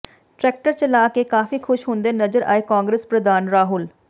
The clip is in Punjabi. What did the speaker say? ਟਰੈਕਟਰ ਚਲਾ ਕੇ ਕਾਫ਼ੀ ਖ਼ੁਸ਼ ਹੁੰਦੇ ਨਜ਼ਰ ਆਏ ਕਾਂਗਰਸ ਪ੍ਰਧਾਨ ਰਾਹੁਲ